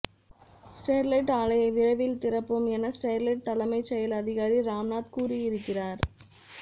Sterlite ஆலையை விரைவில் திறப்போம் என ஸ்டெர்லைட் தலைமை செயல் அதிகாரி ராம்நாத் கூறியிருக்கிறார்